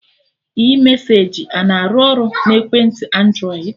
iMesaji ana arụ ọrụ na ekwentị Andrọịd?